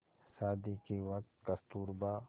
शादी के वक़्त कस्तूरबा